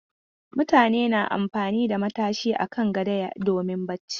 Mutane na amfani da matashi a kan gado domin barci.